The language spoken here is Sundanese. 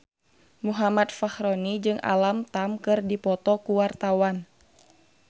Muhammad Fachroni jeung Alam Tam keur dipoto ku wartawan